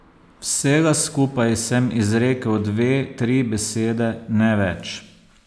Vsega skupaj sem izrekel dve, tri besede, ne več.